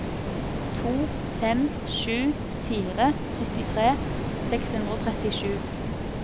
to fem sju fire syttitre seks hundre og trettisju